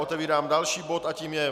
Otevírám další bod a tím je